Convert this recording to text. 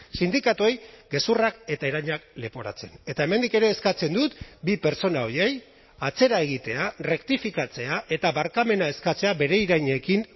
sindikatuei gezurrak eta irainak leporatzen eta hemendik ere eskatzen dut bi pertsona horiei atzera egitea errektifikatzea eta barkamena eskatzea bere irainekin